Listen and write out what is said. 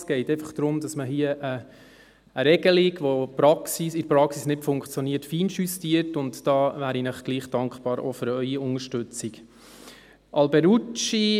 Es geht einfach darum, dass man hier eine Regelung, die in der Praxis nicht funktioniert, feinjustiert, und da wäre ich Ihnen trotzdem, auch für Ihre Unterstützung, dankbar.